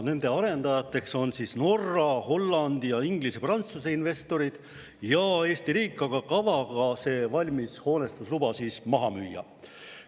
Nende arendajateks on Norra, Hollandi, Inglise ja Prantsuse investorid ja Eesti riik, aga kava on see hoonestusluba maha müüa.